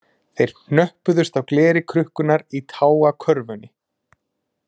Þeir hnöppuðust á gleri krukkunnar í tágakörfunni